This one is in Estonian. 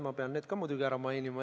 Ma pean need ka muidugi ära mainima.